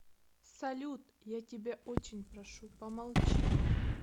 салют я тебя очень прошу помолчи